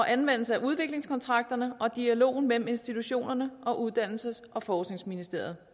anvendelsen af udviklingskontrakterne og dialogen mellem institutionerne og uddannelses og forskningsministeriet